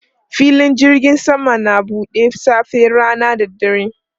Filin jirgin sama na buɗe safe, rana da dare.